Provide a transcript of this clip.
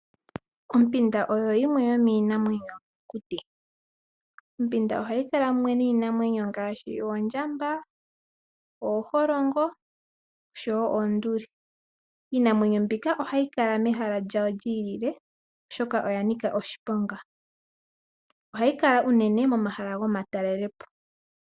Ompinda oyo yimwe yomiinamwenyo yomokuti. Ompunda ohayi kala munwe niinamwenyo ngaashi oondjamba ,ooholongo oshowo oonduli. Iinamwenyo mbika ohayi kala mehala lya yo lyi ilile oshoka olyanika oshiponga. Ohayi kala unene momahala gomatalelepo.